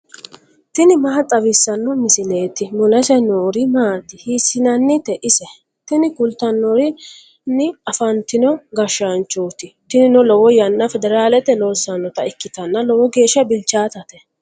tini maa xawissanno misileeti ? mulese noori maati ? hiissinannite ise ? tini kultannori afantino gashshaanchooti. tinino lowo yanna federaalete loossannota ikkitanna lowo geeshsha bilchaatate.